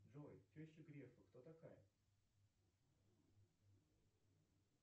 джой теща грефа кто такая